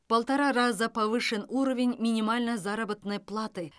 в полтора раза повышен уровень минимальной заработной платы